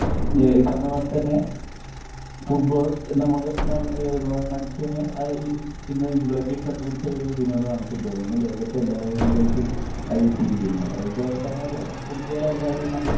ഈഹ് പറഞ്ഞപോലെതന്നെ ഫുട്ബാൾ നമുക്ക് ഈഹ് മനുഷ്യന് ഈഹ് ഇന്ന് ഇംഗ്ലണ്ടിൽ കണ്ടുപിടിച്ച ഒരു വിനോദമാണ് ഫുട്ബോൾ ഇന്ന് ലോകത്ത് എല്ലാവരിലേക്കും അത് എത്തിയിരിക്കുന്നു. അത് ഇപ്പൊ പറഞ്ഞ പോലെ ഫുട്ബോൾ അല്ലാതെ നമ്മൾ